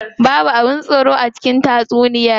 Babu abin tsoro a cikin tatsuniyar.